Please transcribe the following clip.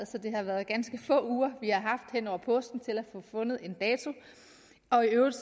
så det har været ganske få uger vi har haft hen over påsken til at få fundet en dato og i øvrigt